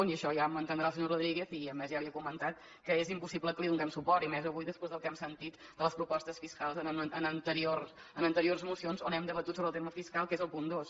i això ja m’ho entendrà el senyor rodríguez i a més ja li he comentat que és impossible que li donem suport i més avui després del que hem sentit de les propostes fiscals en anteriors mocions on hem debatut sobre el tema fiscal que és el punt dos